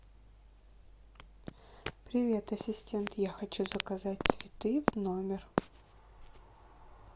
привет ассистент я хочу заказать цветы в номер